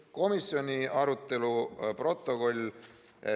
Komisjoni arutelu protokoll.